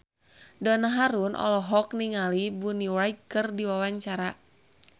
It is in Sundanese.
Donna Harun olohok ningali Bonnie Wright keur diwawancara